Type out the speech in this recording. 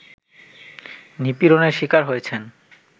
নিপীড়নের শিকার হয়েছেন